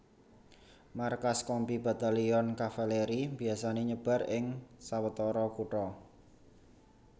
Markas Kompi Batalyon Kavaleri biasané nyebar ing sawetara kutha